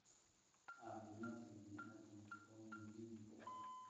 caafimaadka bini'aadamka oo muhiim u ah